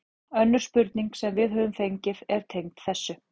Önnur spurning sem við höfum fengið er tengd þessu: